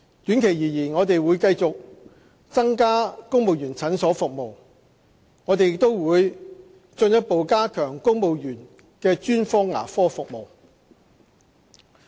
短期而言，我們會繼續增加公務員診所服務，我們亦會進一步加強公務員專科牙科服務。